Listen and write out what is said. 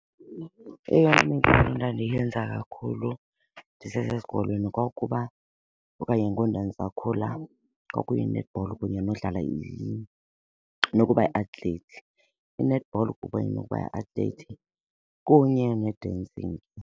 Eyona midlalo ndandiyenza kakhulu ndisesesikolweni kwakuba okanye ngoku ndandisakhula kwakuyi-netball kunye nodlala nokuba yi-athlete. I-netball kuba inokuba kunye ne-dancing.